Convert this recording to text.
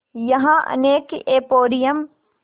यहाँ अनेक एंपोरियम